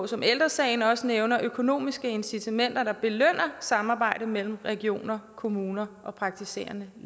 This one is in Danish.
som ældre sagen også nævner økonomiske incitamenter der belønner samarbejde mellem regioner kommuner og praktiserende